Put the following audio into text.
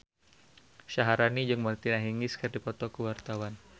Syaharani jeung Martina Hingis keur dipoto ku wartawan